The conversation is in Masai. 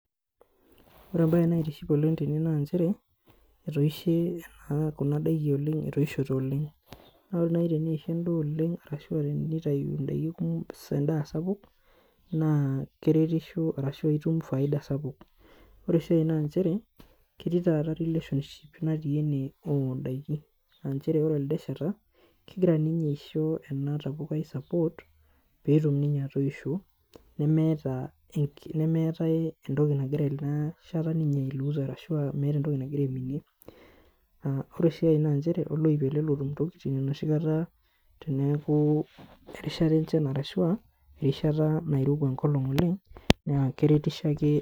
Ore embaye naitiship oleng tene nanchere etoishe ena kuna daiki oleng etoishote oleng naa ore naaji teneisho endaa oleng naa arashua tenitayu indaiki kumo endaa sapuk naa keretisho arashu itum faida sapuk ore sii ae nanchere ketii taata relationship natii ene ondaiki anchere ore elde shata kegira ninye aisho ena tapukai support peetum ninye atoisho nemeeta enki nemeetae entoki nagira ena shata ninye ae loose arashua meeta entoki nagira aiminie naa ore sii ae nanchere naa oloip ele lotum intokiting enoshi kata teneeku erishata enchan arashua erishat nairowua enkolong oleng naa keretisho ake.